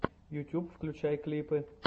ютюб включай клипы